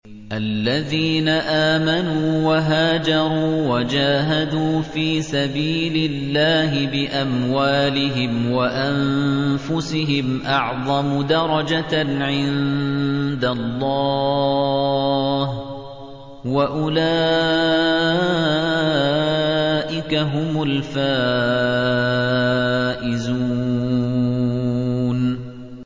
الَّذِينَ آمَنُوا وَهَاجَرُوا وَجَاهَدُوا فِي سَبِيلِ اللَّهِ بِأَمْوَالِهِمْ وَأَنفُسِهِمْ أَعْظَمُ دَرَجَةً عِندَ اللَّهِ ۚ وَأُولَٰئِكَ هُمُ الْفَائِزُونَ